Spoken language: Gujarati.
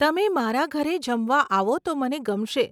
તમે મારા ઘરે જમવા આવો તો મને ગમશે.